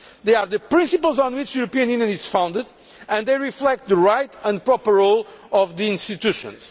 They are the principles on which the European Union is founded and they reflect the right and proper role of the institutions.